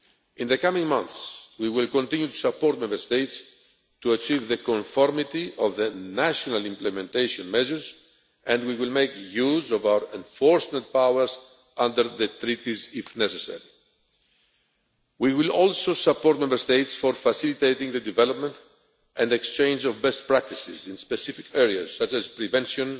In the coming months, we will continue to support Member States to achieve conformity of their national implementation measures and we will make use of our enforcement powers under the Treaties, if necessary. We will also support Member States in facilitating the development and exchange of best practices in specific areas, such as prevention